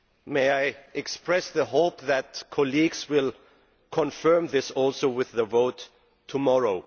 May I express the hope that colleagues will also confirm this with the vote tomorrow?